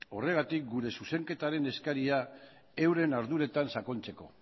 horregatik gure zuzenketaren eskaria euren arduretan sakontzeko